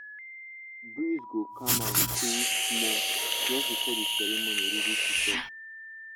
breeze go calm and cool small just before the ceremony really top.